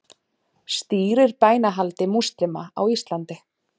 Stýrir bænahaldi múslíma á Íslandi